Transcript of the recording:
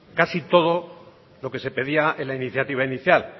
casi todo lo que se pedía en la iniciativa inicial